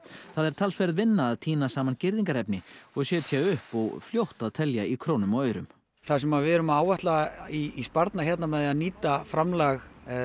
það er talsverð vinna að tína saman girðingarefni og setja upp og fljótt að telja í krónum og aurum það sem við erum að áætla í sparnað hér með því að nýta framlag